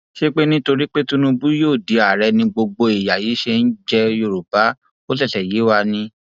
ṣé nítorí pé tinúbù yóò di àárẹ ni gbogbo ìyà yí ṣe ń jẹ yorùbá ó ṣẹṣẹ yé wa ni